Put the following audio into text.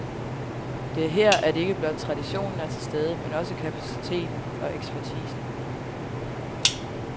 Det er her, at ikke blot traditionen er til stede, men også kapaciteten og ekspertisen.